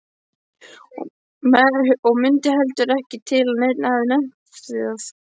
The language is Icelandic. Og mundi heldur ekki til að neinn hefði nefnt það.